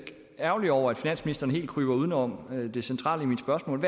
ærgerlig over at finansministeren helt kryber uden om det centrale i mit spørgsmål